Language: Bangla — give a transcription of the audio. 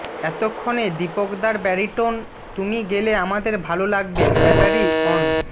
এতক্ষণে দীপকদার ব্যারিটোন তুমি গেলে আমাদের ভালো লাগবে ব্যাটারি অন